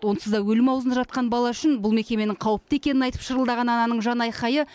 онсыз да өлім аузында жатқан бала үшін бұл мекеменің қауіпті екенін айтып шырылдаған ананың жанайқайы